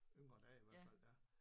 Yngre dage i hvert fald ja